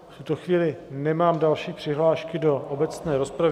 V tuto chvíli nemám žádné přihlášky do obecné rozpravy.